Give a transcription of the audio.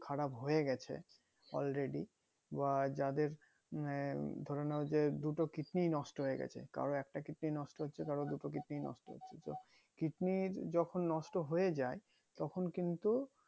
খারাপ হয়ে গেছে already বা যাদের এই ধরে নাও যে দুটো কিডনি নষ্ট হয়ে গেছে কারোর একটা কিডনি নষ্ট হচ্ছে কারোর দুটো কিডনি নষ্ট হচ্ছে কিডনি যখন নষ্ট হয়ে যাই তখন কিন্তু